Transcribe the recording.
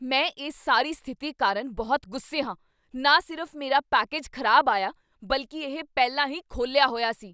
ਮੈਂ ਇਸ ਸਾਰੀ ਸਥਿਤੀ ਕਾਰਨ ਬਹੁਤ ਗੁੱਸੇ ਹਾਂ। ਨਾ ਸਿਰਫ਼ ਮੇਰਾ ਪੈਕੇਜ ਖ਼ਰਾਬ ਹੋਇਆ ਆਇਆ, ਬਲਕਿ ਇਹ ਪਹਿਲਾਂ ਹੀ ਖੋਲ੍ਹਿਆ ਹੋਇਆ ਸੀ!